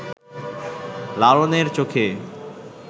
লালনের চোখে